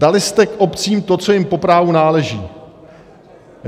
Dali jste obcím to, co jim po právu náleží.